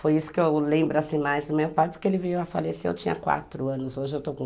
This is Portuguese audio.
Foi isso que eu lembro assim mais do meu pai, porque ele veio a falecer, eu tinha quatro anos, hoje eu estou com